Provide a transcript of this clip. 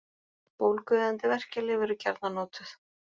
Bólgueyðandi verkjalyf eru gjarnan notuð.